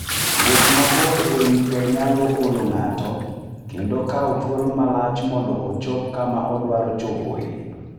Wuoth mabor e wi pe nyalo olo ng'ato, kendo kawo thuolo malach mondo ochop kama odwaro chopoe.